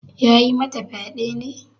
Ya yi mata fyade ne?